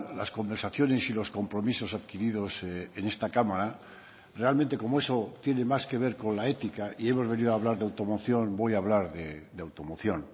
las conversaciones y los compromisos adquiridos en esta cámara realmente como eso tiene más que ver con la ética y hemos venido hablar de automoción voy a hablar de automoción